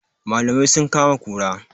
Malamai sun kama kura